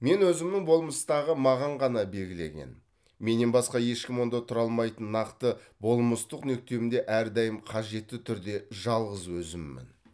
мен өзімнің болмыстағы маған ғана белгіленген менен басқа ешкім онда тұра алмайтын нақты болмыстық нүктемде әрдайым қажетті түрде жалғыз өзіммін